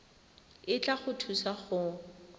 e tla go thusa go